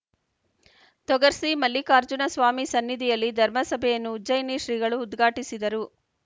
ತೊಗರ್ಸಿ ಮಲ್ಲಿಕಾರ್ಜುನ ಸ್ವಾಮಿ ಸನ್ನಿಧಿಯಲ್ಲಿ ಧರ್ಮಸಭೆಯನ್ನು ಉಜ್ಜಯಿನಿ ಶ್ರೀಗಳು ಉದ್ಘಾಟಿಸಿದರು